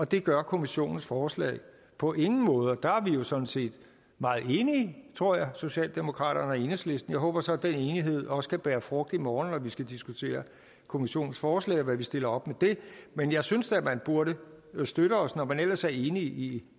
det gør kommissionens forslag på ingen måde der er vi jo sådan set meget enige tror jeg socialdemokraterne og enhedslisten jeg håber så at den enighed også kan bære frugt i morgen når vi skal diskutere kommissionens forslag og hvad vi stiller op med det men jeg synes da at man burde støtte os når man ellers er enig i